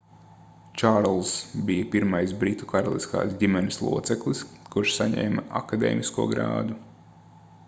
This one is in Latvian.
čārlzs bija pirmais britu karaliskās ģimenes loceklis kurš saņēma akadēmisko grādu